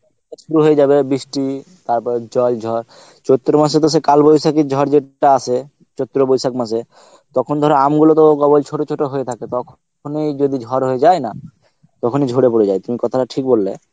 শুরু হয়ে যাবে বৃষ্টি তারপরে জল ঝড়, চৈত্র মাসে তো সে কালবৈশাখী ঝড় যেটা আসে চৈত্র বৈশাখ মাসে তখন ধরো আম গুলো তো কেবল ছোট ছোট হয়ে থাকে তখনই যদি ঝড় হয়ে যায় না তখনই ঝরে পড়ে যায় তুমি কথাটা ঠিক বললে